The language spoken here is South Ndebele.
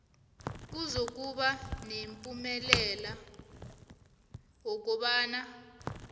kuzokuba nomphumela wokobana